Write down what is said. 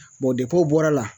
o bɔr'a la